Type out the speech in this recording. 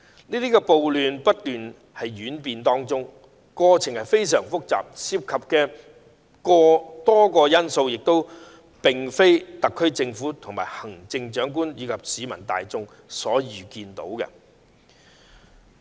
這場暴亂不斷演變，過程非常複雜，亦涉及多個因素，這並非特區政府、行政長官及市民大眾可預見的。